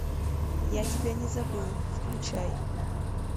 я тебя не забыл включай